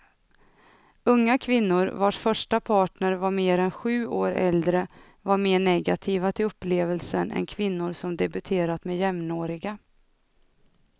Unga kvinnor vars första partner var mer än sju år äldre var mer negativa till upplevelsen än kvinnor som debuterat med jämnåriga.